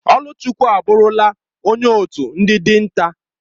Oluchukwu aburula onye otu ndi dinta.